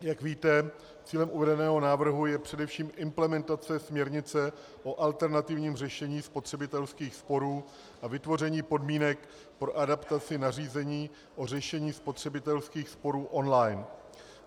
Jak víte, cílem uvedeného návrhu je především implementace směrnice o alternativním řešení spotřebitelských sporů a vytvoření podmínek pro adaptaci nařízení o řešení spotřebitelských sporů online.